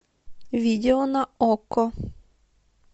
видео на окко